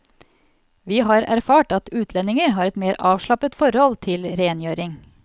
Vi har erfart at utlendinger har et mer avslappet forhold til rengjøring.